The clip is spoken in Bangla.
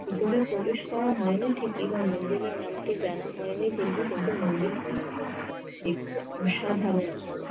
ভিতরে প্রবেশ করা হয়নি ঠিক বা মন্দিরের নামটি জানা হয়নি ঠিকই কিন্তু মন্দিরটি একটি অসাধারন